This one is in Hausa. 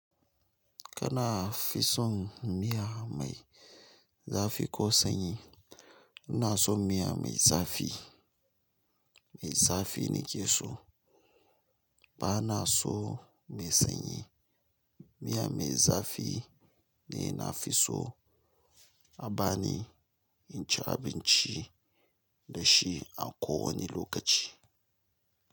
Kana fi son miya mai zafi ko sanyi ina so miya mai zafi, mai zafi nake so. Bana so mai sanyi. Miya mai zafi ne nafiso a bani in ci abinci dashi a kowani lokaci.